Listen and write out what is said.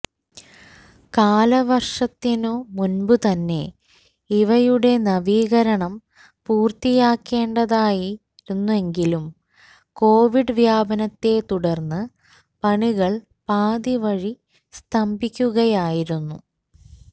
കാലവര്ഷത്തിനു മുമ്പുതന്നെ ഇവയുടെ നവീകരണം പൂര്ത്തീയാക്കേണ്ടതായിരുന്നെങ്കിലും കൊവിഡ് വ്യാപനത്തെത്തുടര്ന്നു പണികള് പാതിവഴി സ്തംഭിക്കുകയായിരുന്നു